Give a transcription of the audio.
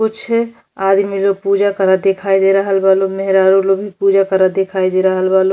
कुछ आदमी लो पूजा करत दिखाई दे रहल बालो। मेहरारू लो भी पूजा करत दिखाई दे रहल बालो।